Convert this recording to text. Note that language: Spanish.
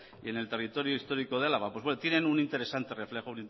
y en el territorio histórico de álava pues tienen un interesante reflejo